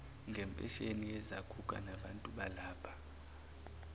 ngempesheni yezaguga nabantubalapha